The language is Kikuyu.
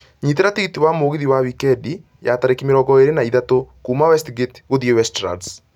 nyitĩra tigĩtĩ wa mũgithi wa wikendi ya tarĩki mĩrongo erĩ na ithatũ kuuma westgate gũthiĩ westlands